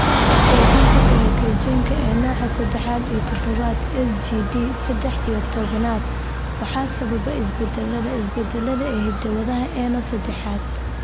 Cudurka kaydinta Glycogenka ee nooca sedex iyo tobnaad (GSD sedex iyo tobnaad) waxa sababa isbeddellada (isbeddellada) ee hidda-wadaha ENO sedexaaad.